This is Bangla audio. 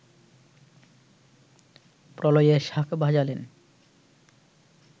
প্রলয়ের শাঁখ বাজালেন